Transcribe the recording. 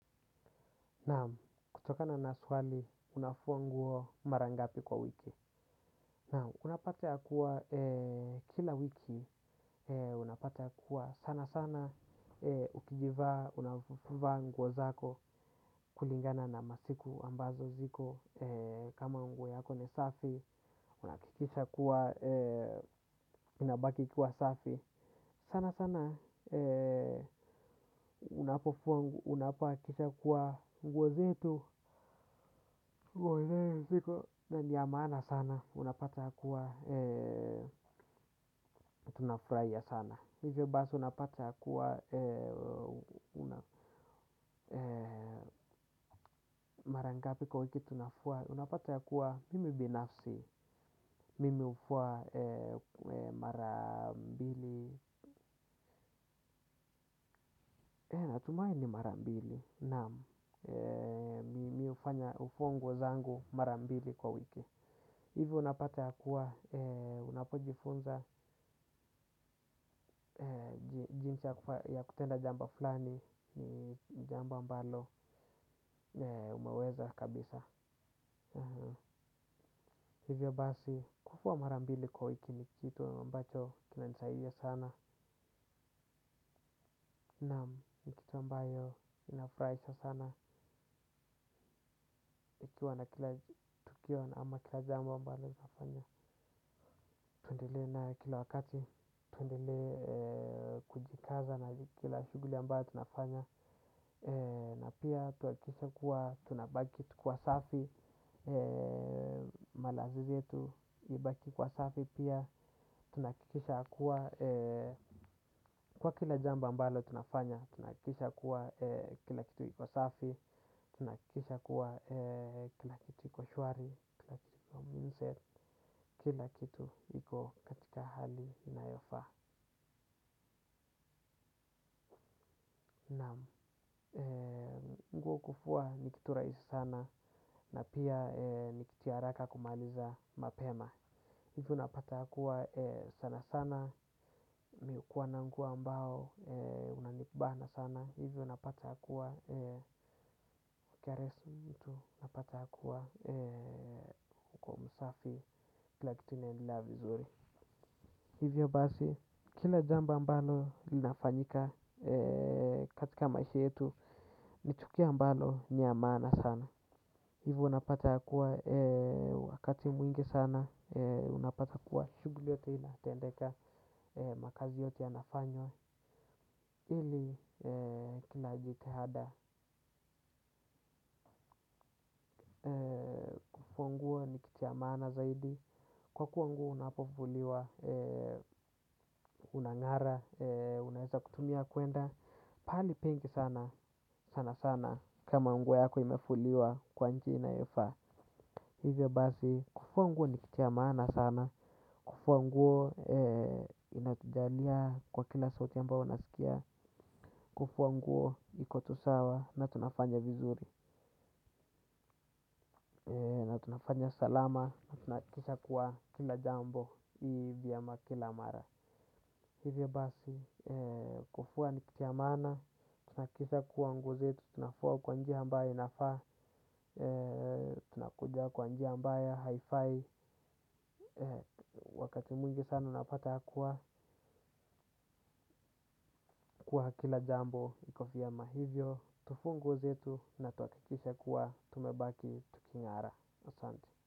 Naam, kutokana na swali unafua nguo mara ngapi kwa wiki? Naam, unapata kuwa kila wiki, unapata kuwa sanasana ukijivaa, unavaa nguo zako kulingana na masiku ambazo ziko kama nguo yako ni safi, unahakikisha kuwa inabaki kuwa safi. Sanasana unapofua nguo, unafaa kuhakikisha kuwa nguo zote mgozitu, na niyamana sana, unapata kuwa, tunafurahia sana. Hivyo basi unapata kuwa, mara ngapi kwa wiki tunafua unapata kuwa, mimi binafsi, mimi hufua marambili. Natumai ni marambili na mi hufanya kufua nguo zangu marambili kwa wiki. Hivyo unapata ya kuwa unapojifunza jinsi ya kutenda jambo fulani ni jambo ambalo umeweza kabisa. Hivyo basi kufua marambili kwa wiki ni kitu ambacho kinanisaidia sana na ni kitu ambayo inafurahisha sana. Ikiwa na tukiwa na ama kila jamba ambayo inafanya. Tuendelee nayo kila wakati. Tuendelee kujikaza na kila shughuli ambayo tunafanya. Na pia tuhakikishe kuwa tunabaki tukiwa safi. Malazi yetu ibaki kuwa safi pia. Tunahakikisha kuwa kwa kila jambo ambalo tunafanya tunahakikishs kuwa kila kitu iko safi. Tunahakikisha kuwa kila kitu iko shwari, kila kitu mzuri, kila kitu iko katika hali inayofaa. Naam, nguo kufua ni kitu rahisi sana na pia ni kitu ya haraka kumaliza mapema. Hivyo unapata kuwa sana sana mi hukuwa na nguo ambayo inanibana sana. Hivyo napata kuwa karesu mtu napata hakuwa uko msafi kila kitu inaendelea vizuri. Hivyo basi kila jambo ambalo linafanyika katika maisha yetu ni tukio ambalo ni ya maana sana. Hivyo napata ya kuwa wakati mwingi sana unapata kuwa shughuli yote inatendeka makazi yote yanafanywa ili kila jitihada kufua nguo ni kitu ya maana zaidi. Kwa kuwa nguo unapofuliwa Unangara. Unaeza kutumia kwenda pahali pengi sana. Sanasana. Kama nguo yako imefuliwa kwa njia inayofaa. Hivyo basi kufua nguo ni kitu ya maana sana. Kufua nguo inatujalia kwa kila sauti ambayo naskia. Kufua nguo iko tu sawa na tunafanya vizuri. Na tunafanya salama nahakikisha kuwa kila jambo hivi ya kila mara hivyo basi kufua ni kitu ya maana tunahakikisha kuwa nguo zetu tunafua kwa njia ambayo inafaa tunakuja kwa njia ambayo haifai wakati mwingi sana napata kuwa kwa kila jambo iko vyema hivyo tufue nguo zetu na tuhakikishe kuwa tumebaki tukingara asante.